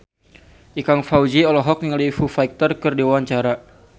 Ikang Fawzi olohok ningali Foo Fighter keur diwawancara